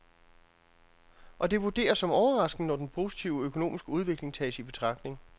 Og det vurderes som overraskende, når den positive økonomiske udvikling tages i betragtning.